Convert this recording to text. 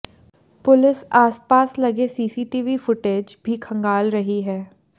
police आसपास लगे CCTV footage भी खंगाल रही है